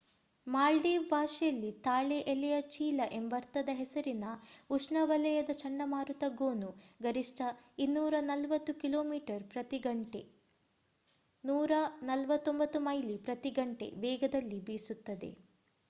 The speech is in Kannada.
ಮಾಲ್ಡೀವ್ ಭಾಷೆಯಲ್ಲಿ ತಾಳೆ ಎಲೆಯ ಚೀಲ ಎಂಬರ್ಥದ ಹೆಸರಿನ ಉಷ್ಣವಲಯದ ಚಂಡಮಾರುತ ಗೋನು ಗರಿಷ್ಠ 240 ಕಿಲೋಮೀಟರ್ ಪ್ರತಿ ಗಂಟೆ149 ಮೈಲಿ ಪ್ರತಿ ಗಂಟೆ ವೇಗದಲ್ಲಿ ಬೀಸುತ್ತದೆ